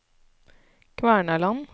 Kvernaland